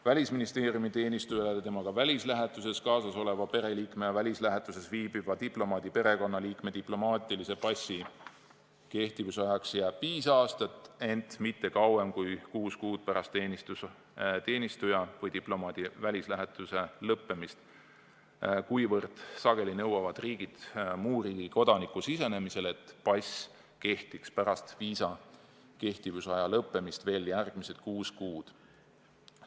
Välisministeeriumi teenistuja ja temaga välislähetuses kaasas oleva pereliikme välislähetuses viibiva diplomaadi perekonnaliikme diplomaatilise passi kehtivusajaks jääb viis aastat, ent see ei kehti kauem kui kuus kuud pärast teenistuja või diplomaadi välislähetuse lõppemist, kuna sageli nõuavad riigid muu riigi kodaniku sisenemisel, et pass kehtiks pärast viisa kehtivusaja lõppemist veel järgmised kuus kuud.